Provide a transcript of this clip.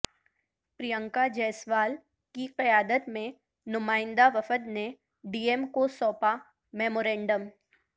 پرینکا جیسوال کی قیادت میں نمائندہ وفد نے ڈی ایم کو سونپا میمورنڈم